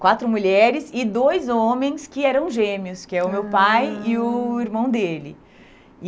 Quatro mulheres e dois homens que eram gêmeos, que é o meu pai e o irmão dele.